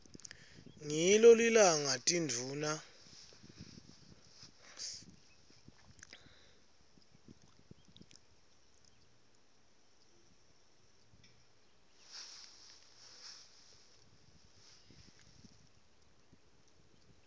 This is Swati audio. ngilo lilanga tindvuna